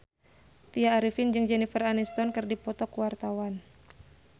Tya Arifin jeung Jennifer Aniston keur dipoto ku wartawan